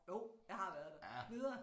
Jo jeg har været der videre